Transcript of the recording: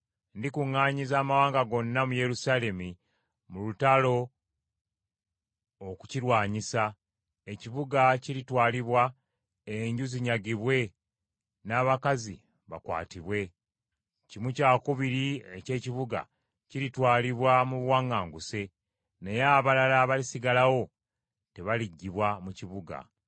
Ndikuŋŋaanyiza amawanga gonna mu Yerusaalemi mu lutalo okukirwanyisa; ekibuga kiritwalibwa, enju zinyagibwe n’abakazi bakwatibwe. Kimu kyakubiri eky’ekibuga kiritwalibwa mu buwaŋŋanguse; naye abalala abalisigalawo tebaliggibwa mu kibuga.